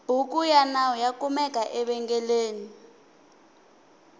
bhuku yanawu yakumeka evengeleni